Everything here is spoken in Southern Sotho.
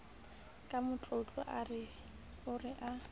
ka matlotlo ao re a